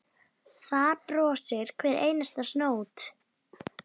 Þar brosir hver einasta snót.